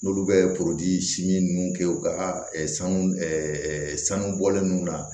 N'olu bɛ ninnu kɛ u ka sanu sanu bɔlen ninnu na